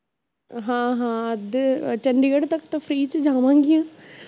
ਹਾਂ ਹਾਂ ਅੱਧੇ ਚੰਡੀਗੜ੍ਹ ਤਕ ਤਾਂ free ਚ ਜਾਵਾਂਗੀਆ